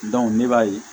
ne b'a ye